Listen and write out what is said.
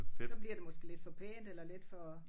Så bliver det måske lidt for pænt eller lidt for